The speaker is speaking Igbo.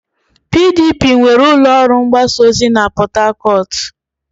PDP nwere ụlọ ọrụ mgbasa ozi na Port Harcourt.